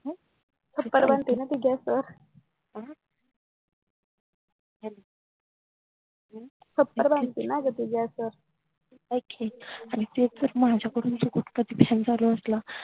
छप्पर बांधतीन ती gas वर छप्पर बांधती न ग ती gas वर आईक कि आणि तेच जर माझ्याकडून चुकून fan चालु असला